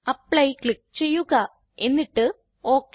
apply click ചെയ്യുക എന്നിട്ട് okay